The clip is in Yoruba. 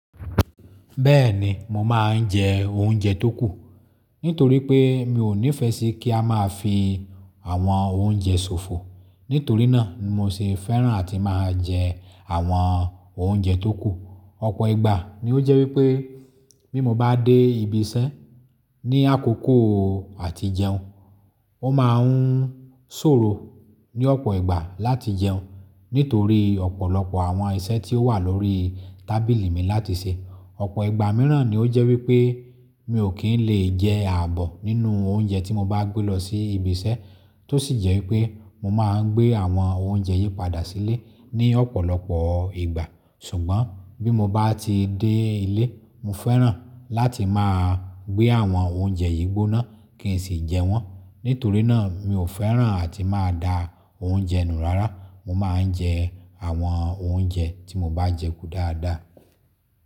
Bẹ́ẹ̀ni, mo máa ń jẹ oúnjẹ tó kù. Nítorí pé mi ò nífẹ́ sí kí a máa fi àwọn oúnjẹ ṣòfò. Nítorínà mo sì fẹ́ràn àti máa jẹ àwọn oúnjẹ tó kù. Ọ̀pọ̀ ìgbà ni ó jẹ́ wípé bí mo bá dé ibi iṣẹ́ ní àkókò àti jẹun, ó máa ń ṣòro ní ọ̀pọ̀ ìgbà láti jẹun. Nítorí ọ̀pọ̀lọpọ̀ àwọn iṣẹ́ tí ó wà lórí tábìlì mi láti ṣe. Ọ̀pọ̀ ìgbà mìíràn ni ó jẹ́ wípé mi ò kí ń lè jẹ ààbò nínú oúnjẹ tí mo bá gbé lọ sí ibi iṣẹ́. Tó sì jẹ́ wípé mo máa ń gbé àwọn oúnjẹ yìí padà sílé ní ọ̀pọ̀lọpọ̀ ìgbà. Ṣùgbọ́n bí mo bá ti dé ilé, mo fẹ́ràn láti máa gbé àwọn oúnjẹ yìí gbóná kí n sì jẹ wọ́n. Nítorínà mi ò fẹ́ràn àti máa da oúnjẹ nù rárá. Mo máa ń jẹ àwọn oúnjẹ tí mo bá jẹ kú dáadáa.